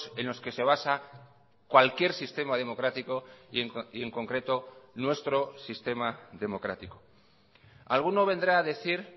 en los que se basa cualquier sistema democrático y en concreto nuestro sistema democrático alguno vendrá a decir